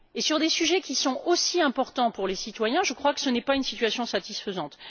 Et sur des sujets qui sont aussi importants pour les citoyens, je crois que ce n'est pas une situation satisfaisante.